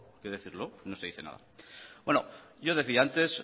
que decirlo no se dice nada yo decía antes